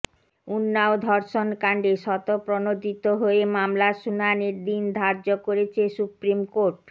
উন্নাও ধর্ষণ কাণ্ডে স্বতঃপ্রণোদিত হয়ে মামলার শুনানির দিন ধার্য করেছে সুপ্রিম কোর্ট